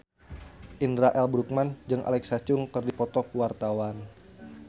Indra L. Bruggman jeung Alexa Chung keur dipoto ku wartawan